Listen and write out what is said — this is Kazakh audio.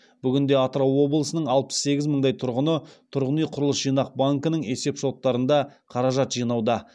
бүгінде атырау облысының алпыс сегіз мыңдай тұрғыны тұрғын үй құрылыс жинақ банкінің есеп шоттарында қаражат жинауда